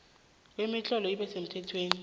kwemitlolo ibe semthethweni